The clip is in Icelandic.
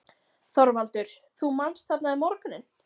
ÞORVALDUR: Þú manst: þarna um morguninn?